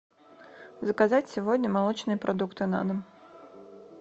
заказать сегодня молочные продукты на дом